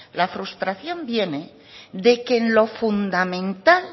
la frustración viene de que en lo fundamental